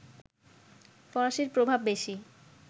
ফরাসির প্রভাব বেশি